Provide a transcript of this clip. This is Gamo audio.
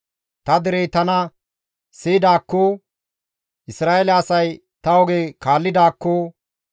«Ta derey tana siyidaakkoo! Isra7eele asay ta oge kaallidaakko!